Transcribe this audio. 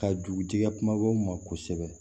Ka dugutigi kumabaw ma kosɛbɛ